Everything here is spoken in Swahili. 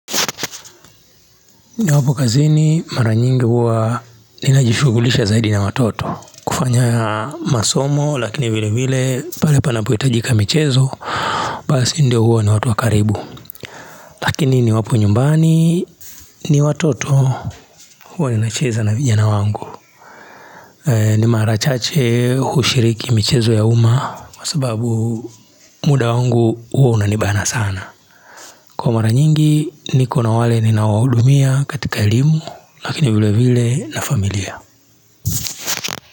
Niwapo kazini mara nyingi huwa ninajishughulisha zaidi na watoto, kufanya masomo, lakini vile vile pale panapohitajika michezo Basi ndio huwa ni watu wa karibu Lakini ni wapu nyumbani ni watoto, huwa ninacheza na vijana wangu ni mara chache hushiriki michezo ya uma, kwa sababu muda wangu huwa unanibana sana. Kwa mara nyingi niko na wale ninawahudumia katika elimu, lakini vile vile na familia.